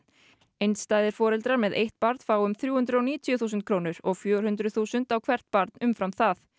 einstæðir foreldrar með eitt barn fá um þrjú hundruð og níutíu þúsund krónur og fjögur hundruð þúsund á hvert barn umfram það